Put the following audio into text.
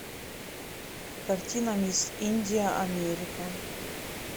картина мисс индия америка